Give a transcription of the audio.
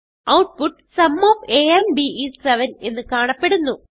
output sum of a and b is 7 എന്ന് കാണപ്പെടുന്നു